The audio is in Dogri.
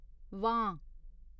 वां